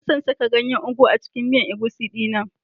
Ina son saka ganyen ugu a cikin miyan egusi dina.